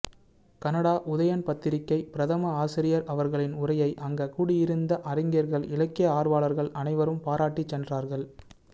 Canada Uthayan பத்திரிகை பிரதம ஆசிரியர் அவர்களின் உரையை அங்க கூடியிருந்த அறிஞர்கள் இலக்கிய ஆர்வலர்கள் அனைவரும் பாராட்டிச் சென்றார்கள்